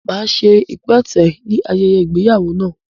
Máa ṣe ipẹtẹ ní ayẹyẹ ìgbéyàwó náà